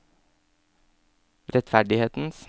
rettferdighetens